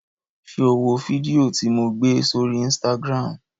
Ṣé o wo fídíò tí lo gbé sórí Instagram?